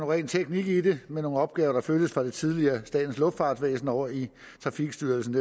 ren teknik i det med nogle opgaver der flyttes fra det tidligere statens luftfartsvæsen over i trafikstyrelsen